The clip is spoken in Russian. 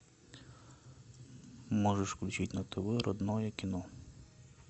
можешь включить на тв родное кино